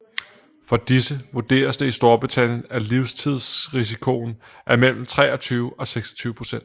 For disse vurderes det i Storbritannien at livstidsrisikoen er mellem 23 og 26 procent